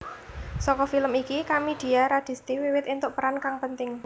Saka film iki Kamidia Radisti wiwit entuk peran kang penting